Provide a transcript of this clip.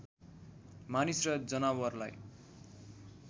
मानिस र जनावरलाई